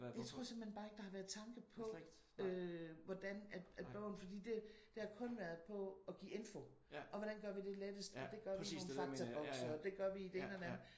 Jeg tror simpelthen bare ikke der har været tanke på øh hvordan at bogen fordi det det har kun været på at give info. Og hvordan gør vi det lettest? Og det gør vi med nogle faktabokse og det gør vi med det ene og det andet